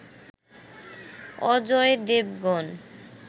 Ajay Devgan